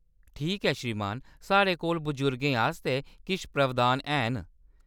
ठीक ऐ, श्रीमान। साढ़े कोल बजुर्गें आस्तै किश प्रावधान हैन।